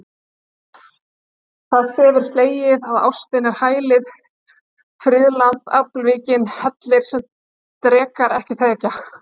Það stef er slegið að ástin er hælið, friðland, afvikinn hellir, sem drekar ekki þekkja.